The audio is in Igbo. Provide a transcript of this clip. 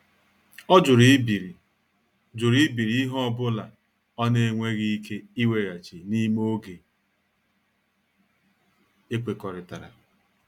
Ọ jụrụ ibiri jụrụ ibiri ihe ọ bụla ọ na-enweghị ike ịweghachi n'ime oge ekwekọrịtara.